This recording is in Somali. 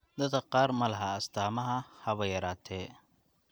Dadka qaar ma laha astaamo haba yaraatee.